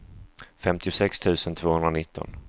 femtiosex tusen tvåhundranitton